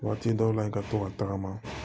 Waati dɔw la i ka to ka tagama